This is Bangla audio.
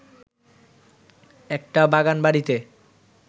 একটা বাগানবাড়িতে